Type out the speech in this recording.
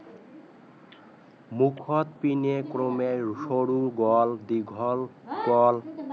মুখৰ পিনে ক্ৰমে সৰু গল দীঘল গল